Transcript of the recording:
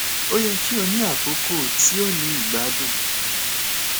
o yẹ ki o ni akoko ti o ni igbadun